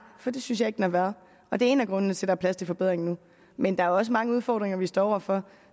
for det synes jeg ikke den har været og det er en af grundene til er plads til forbedringer nu men der er også mange udfordringer vi står over for